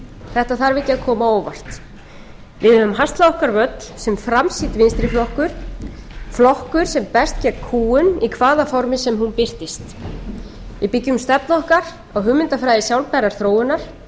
þetta þarf ekki að koma á óvart við höfum haslað okkur völl sem framsýnn vinstri flokkur flokkur sem berst gegn kúgun í hvaða formi sem hún birtist við byggjum stefnu okkar á hugmyndafræði sjálfbærrar þróunar